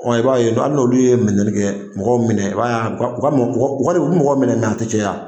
i b'a ye hali n'olu ye minɛli kɛ, mɔgɔw minɛ, i b'a y'a ka u ka u ka mun u ka u bi mɔgɔw minɛ mɛɛ a tɛ caya.